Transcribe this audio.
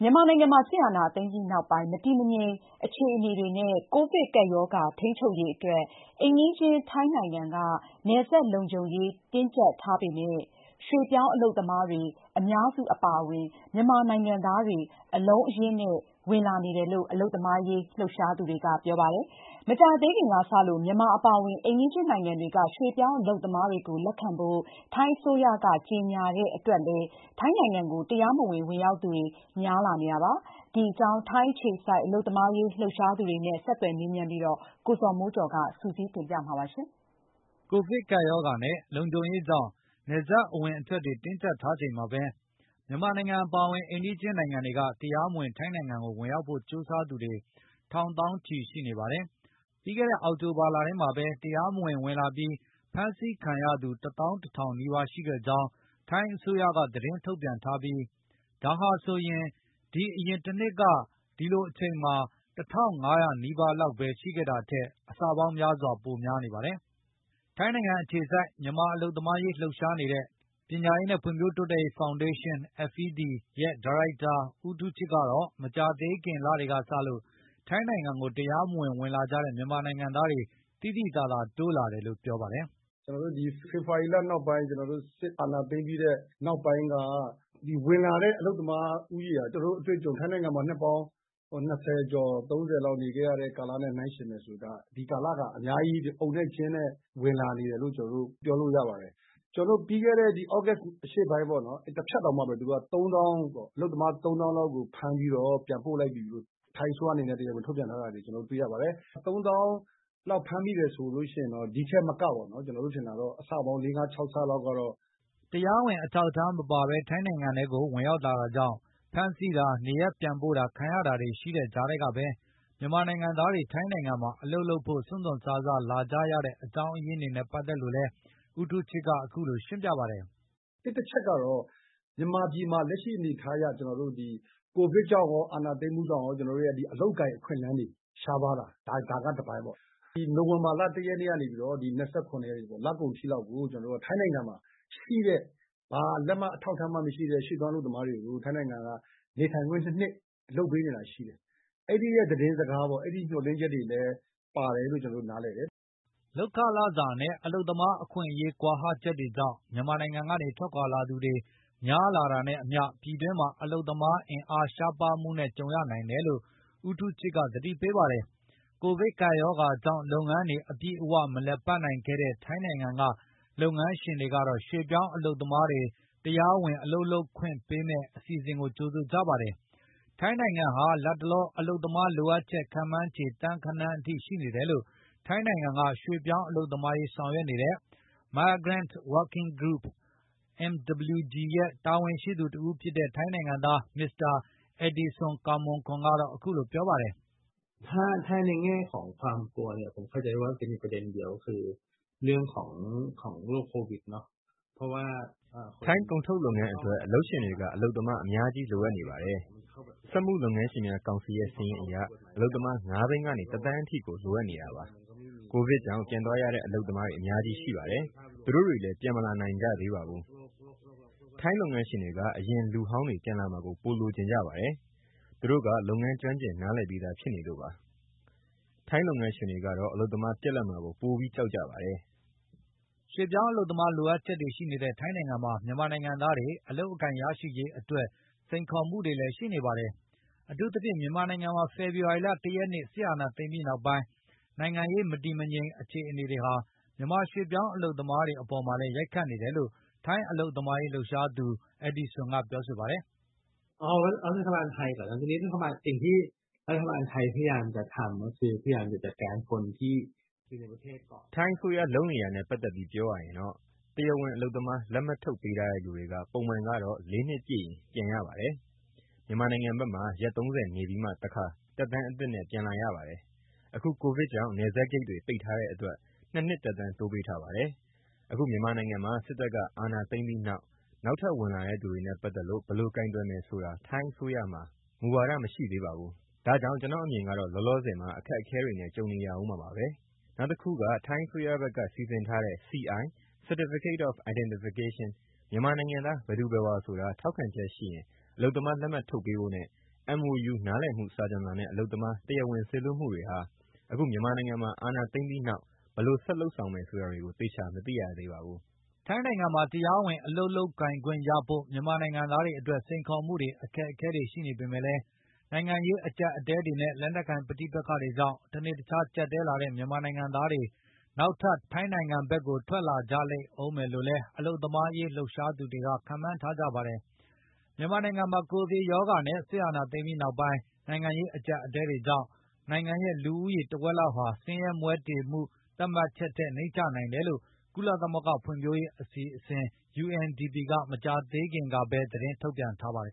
မြန်မာနိုင်ငံမှာ စစ်အာဏာသိမ်းပြီးနောက်ပိုင်း မတည်မငြိမ် အခြေအနေတွေနဲ့ ကိုဗစ်ကပ်ရောဂါ ထိန်းချုပ်ရေးအတွက် အိမ်နီးချင်း ထိုင်းနိုင်ငံက နယ်စပ်လုံခြုံရေး တင်းကျပ်ထားပေမယ့် ရွှေ့ပြောင်းအလုပ်သမားတွေ အများစု အပါအဝင် မြန်မာနိုင်ငံသားတွေ အလုံးအရင်းနဲ့ ဝင်လာနေတယ်လို့ အလုပ်သမားရေး လှုပ်ရှားသူတွေက ပြောပါတယ်။ မကြာသေးခင်ကစလို့ မြန်မာအပါအဝင် အိမ်နီးချင်း နိုင်ငံတွေက ရွှေ့ပြောင်းအလုပ်သမားတွေကို လက်ခံဖို့ ထိုင်းအစိုးရက ကြေညာလိုက်တဲ့ အတွက်လည်း ထိုင်းနိုင်ငံကို တရားမဝင် ဝင်ရောက်သူတွေ များလာနေတာပါ။ ဒီအကြောင်း ထိုင်းအခြေစိုက် အလုပ်သမားရေး လှုပ်ရှားသူတွေနဲ့ ဆက်သွယ်မေးမြန်းပြီး ကိုဇော်မိုးကျော်က ပြောပြပေးမှာ ဖြစ်ပါတယ်။ ကပ်ရောဂါနဲ့ လုံခြုံရေးကြောင့် နယ်စပ်အဝင်အထွက်တွေ တင်းကျပ်ထားချိန်မှာပဲ မြန်မာနိုင်ငံ အပါအဝင် အိမ်နီးချင်းနိုင်ငံတွေက တရားမဝင် ထိုင်းနိုင်ငံကို ဝင်ရောက်ဖို့ ကြိုးစားသူတွေ ထောင်သောင်းချီ ရှိနေပါတယ်။ ပြီးခဲ့တဲ့ အောက်တိုဘာလထဲမှာပဲ တရားမဝင် ဝင်လာပြီး ဖမ်းဆီးခံရသူ ၁၁,၀၀၀ နီးပါး ရှိခဲ့ကြောင်း ထိုင်းအစိုးရက သတင်းထုတ်ပြန်ထားပြီး ဒါဟာဆိုရင် ဒီအရင်တနှစ်က ဒီလိုအချိန်မှာ ၁,၅၀၀ နီးပါးလောက် ရှိခဲ့တာထက် အဆပေါင်းများစွာ ပိုများနေတာပါ။ ထိုင်းနိုင်ငံအခြေစိုက် မြန်မာအလုပ်သမားရေး လှုပ်ရှားနေတဲ့ ပညာရေးနဲ့ ဖွံ့ဖြိုးတိုးတက်ရေး ဖောင်ဒေးရှင်း ဒါရိုက်တာ ဦးထူးချစ်ကတော့ မကြာသေးခင် လတွေကစလို့ ထိုင်းနိုင်ငံကို တရားမဝင် ဝင်လာကြတဲ့ မြန်မာနိုင်ငံသားတွေ သိသိသာသာ တိုးလာတယ်လို့ ပြောပါတယ်။ “ဖေဖော်ဝါရီလနောက်ပိုင်း၊ စစ်အာဏာသိမ်းပြီးတဲ့ နောက်ပိုင်းက ဝင်လာတဲ့ အလုပ်သမားဦးရေက ကျနော့်အတွေ့အကြုံ၊ ထိုင်းနိုင်ငံမှာ နှစ်ပေါင်း ၂၀ ကျော်၊ ၃၀ လောက် နေခဲ့ရတဲ့ ကာလနဲ့ နှိုင်းယှဉ်မယ်ဆို ဒီကာလက အများကြီး အုံနဲ့ကျင်းနဲ့ ဝင်လာနေတယ်လို့ ပြောလို့ရပါတယ်။ ပြီးခဲ့ဲတဲ့ သြဂုတ်အရှေ့ပိုင်း တဖြတ်တောင်မှ အလုပ်သမား ၃၀,၀၀၀ လောက်ကို ဖမ်းပြီးတော့ ပြန်ပို့လိုက်ပြီလို့ ထိုင်းအစိုးရအနေနဲ့ တရားဝင် ထုတ်ပြန်ထားတာတွေ ကျနော်တို့ တွေ့ရပါတယ်။ ၃၀,၀၀၀ လောက် ဖမ်းမိတယ်ဆိုရင် ဒီ့ထက်မက ကျနော်တို့ထင်တာ အဆပေါင်း လေးငါးခြောက်ဆလောက်ကတော့ ရှိနိုင်ပါတယ်။” တရားဝင်အထောက်အထား မပါဘဲ ထိုင်းနိုင်ငံကို ဝင်ရောက်လာတာကြောင့် ဖမ်းဆီးတာ၊ နေရပ်ပြန်ပို့တာ ခံရတာတွေ ရှိတဲ့ကြားကပဲ မြန်မာနိုင်ငံသားတွေ ထိုင်းနိုင်ငံမှာ အလုပ်လုပ်ဖို့ စွန့်စွန့်စားစား လာကြတဲ့ အကြောင်းရင်းတွေနဲ့ ပတ်သက်လို့လည်း ဦးထူးချစ်က အခုလို ရှင်းပြပါတယ်။ “တချက်ကတော့ မြန်မာပြည်မှာ လက်ရှိအနေအထားအရ ကိုဗစ်ကြောင့်ရော အာဏာသိမ်းမှုကြောင့်ရော အလုပ်အကိုင် အခွင့်အလမ်းတွေ ရှားပါးလာတယ်။ ဒါကတပိုင်းပေါ့။ နိုဝင်ဘာလ ၁ ရက်နေ့ကနေ ၂၇ ရက်နေ့ လကုန်အထိလောက်ကို ထိုင်းနိုင်ငံမှာရှိတဲ့ ဘာလက်မှတ် အထောက်အထားမှ မရှိတဲ့ ရွှေ့ပြောင်းအလုပ်သမားတွေကို ထိုင်းနိုင်ငံက နေထိုင်ခွင့် ၂ နှစ် လုပ်ပေးနေတာ ရှိတယ်။ အဲဒီရဲ့သတင်းစကား၊ အဲဒီရမျှော်လင့်ချက်တွေလည်း ပါတယ်လို့ ကျနော်တို့ နားလည်တယ်။” လုပ်ခလစာနဲ့ အလုပ်သမား အခွင့်အရေး ကွာဟချက်တွေကြောင့် မြန်မာနိုင်ငံကနေ ထွက်ခွာသူတွေ များလာတာနဲ့အမျှ ပြည်တွင်းမှာ လုပ်သားအင်အား ရှားပါးမှုနဲ့ ကြုံရနိုင်တယ်လို့လည်း ဦးထူးချစ်က သတိပေးပါတယ်။ ကိုဗစ်ကပ်ရောဂါကြောင့် လုပ်ငန်းတွေ အပြည့်အဝ မလည်ပတ်နိုင်ခဲ့တဲ့ ထိုင်းနိုင်ငံက လုပ်ငန်းရှင်တွေကတော့ ရွှေ့ပြောင်းအလုပ်သမားတွေ တရားဝင် အလုပ်လုပ်ခွင့်ပေးမယ့် အစီအစဉ်ကို ကြိုဆိုကြပါတယ်။ ထိုင်းနိုင်ငံဟာ လတ်တလော အလုပ်သမားလိုအပ်ချက် ခန့်မှန်းခြေ သန်းဂဏန်းအထိ ရှိနေတယ်လို့လည်း ထိုင်းနိုင်ငံက ရွှေ့ပြောင်းအလုပ်သမားအရေး ဆောင်ရွက်နေတဲ့ Migrant Working Group တာဝန်ရှိသူတဦးဖြစ်တဲ့ ထိုင်းနိုင်ငံသား မစ္စတာ အက်ဒီစွန် ကာ့မွန်ကွန်က ပြောပါတယ်။ “ထိုင်းကုန်ထုတ်လုပ်ငန်းအတွက် အလုပ်ရှင်တွေက အလုပ်သမား အများကြီး လိုအပ်နေပါတယ်။ စက်မှုလုပ်ငန်းရှင်များကောင်စီရဲ့ စာရင်းအရ အလုပ်သမား ၅ သိန်းကနေ ၁ သန်းအထိ လိုနေပါတယ်။ ကိုဗစ်ကြောင့် ပြန်သွားရတဲ့ အလုပ်သမားတွေ အများကြီးရှိပါတယ်။ သူတို့တွေလည်း ပြန်မလာနိုင်ကြသေးပါဘူး။ ထိုင်းလုပ်ငန်းရှင်တွေက အရင်လူဟောင်းတွေ ပြန်လာမှာကို ပိုလိုချင်ကြပါတယ်။ သူတို့က လုပ်ငန်းကျွမ်းကျင် နားလည်ပြီးသား ဖြစ်နေလို့ပါ။ ထိုင်းလုပ်ငန်းရှင်တွေကတော့ အလုပ်သမား ပြတ်လပ်မှာကို ပိုပြီး ကြောက်ကြပါတယ်။” ရွှေ့ပြောင်းအလုပ်သမား လိုအပ်ချက်တွေ ရှိနေတဲ့ ထိုင်းနိုင်ငံမှာ မြန်မာနိုင်ငံသားတွေ အလုပ်အကိုင် ရရှိရေးအတွက် စိန်ခေါ်မှုတွေလည်း ရှိနေပါတယ်။ အထူးသဖြင့် မြန်မာနိုင်ငံမှာ ဖေဖော်ဝါရီလ ၁ ရက်နေ့ စစ်အာဏာသိမ်းပြီးနောက်ပိုင်း နိုင်ငံရေး မတည်မငြိမ် အခြေအနေတွေဟာ မြန်မာရွှေ့ပြောင်းအလုပ်သမားတွေ အပေါ်မှာလည်း ရိုက်ခတ်နေတယ်လို့ ထိုင်းအလုပ်သမားရေး လှုပ်ရှားသူ အက်ဒီစွန်က ပြောပါတယ်။ “ထိုင်းအစိုးရ လုပ်နေတာနဲ့ ပတ်သက်ပြီး ပြောရရင်တော့ တရားဝင် အလုပ်သမားလက်မှတ် ထုတ်ပေးထားတဲ့သူတွေက ပုံမှန်ကတော့ ၄ နှစ်ပြည့်ရင် ပြန်ရပါတယ်။ မြန်မာနိုင်ငံဘက်မှာ ရက် ၃၀ နေပြီးမှ တခါ သက်တမ်းအသစ်နဲ့ ပြန်လာရပါတယ်။ အခု ကိုဗစ်ကြောင့် နယ်စပ်တွေပိတ်ထားတဲ့အတွက် ၂ နှစ် သက်တမ်းတိုးပေးထားပါတယ်။ အခု မြန်မာနိုင်ငံမှာ စစ်တပ်ကအာဏာသိမ်းပြီးနောက် နောက်ထပ်ဝင်လာတဲ့သူတွေနဲ့ ပတ်သက်လို့ ဘယ်လိုကိုင်တွယ်မယ်ဆိုတာ ထိုင်းအစိုးရမှာ မူဝါဒ မရှိသေးပါဘူး။ ဒါကြောင့် ကျနော့်အမြင်ကတော့ လောလောဆယ်မှာ အခက်အခဲတွေနဲ့ ကြုံနေရဦးမှာပါပဲ။ နောက်တခုက ထိုင်းအစိုးရဘက်က စီစဉ်ထားတဲ့ CI Certificate of Identification မြန်မာနိုင်ငံသား ဘယ်သူဘယ်ဝါဆိုတာ ထောက်ခံချက်ရှိရင် အလုပ်သမားလက်မှတ် ထုတ်ပေးဖို့နဲ့ MOU နားလည်မှုစာချွန်လွှာနဲ့ အလုပ်သမား တရားဝင် စေလွှတ်မှုတွေဟာ အခု မြန်မာနိုင်ငံမှာ အာဏာသိမ်းပြီးနောက် ဘယ်လိုဆက်လုပ်ဆောင်မယ် ဆိုတာတွေကို သေချာမသိရသေးပါဘူး။” ထိုင်းနိုင်ငံမှာ တရားဝင် အလုပ်လုပ်ခွင့်ရဖို့ မြန်မာနိုင်ငံသားတွေအတွက် စိန်ခေါ်မှုတွေ အခက်အခဲတွေ ရှိနေပေမယ့်လည်း နိုင်ငံရေး အကျပ်အတည်းတွေနဲ့ လက်နက်ကိုင် ပဋိပက္ခတွေကြောင့် တနေ့တခြား ကျပ်တည်းလာနေတဲ့ မြန်မာနိုင်ငံသားတွေ နောက်ထပ် ထွက်လာကြလိမ့်ဦးမယ်လို့လည်း အလုပ်သမားရေး လှုပ်ရှားသူတွေ ခန့်မှန်းနေကြပါတယ်။ မြန်မာနိုင်ငံမှာ ကိုဗစ်ကပ်ရောဂါနဲ့ စစ်အာဏာသိမ်းပြီးနောက်ပိုင်း နိုင်ငံရေး အကျပ်အတည်းတွေကြောင့် နိုင်ငံရဲ့ လူဦးရေ တဝက်လောက်ဟာ ဆင်းရဲမွဲတေမှု သတ်မှတ်ချက်ထက် နိမ့်ကျနိုင်တယ်လို့လည်း ကုလသမဂ္ဂ ဖွံ့ဖြိုးမှုအစီအစဉ် က မကြာသေးခင်ကပဲ သတင်းထုတ်ပြန်ထားပါတယ်